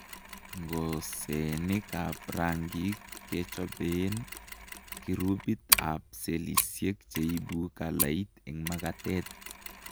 Ng'osenik ab rangik kechobeen kirubit ab cellisiek cheibu kalait eng' makatet